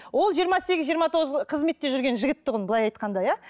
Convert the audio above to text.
ол жиыма сегіз жиырма тоғыз қызметте жүрген жігіт тұғын былай айтқанда иә